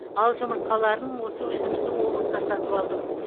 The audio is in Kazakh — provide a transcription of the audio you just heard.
ал жұмыртқаларын осы өзіміздің облыста сатып алдым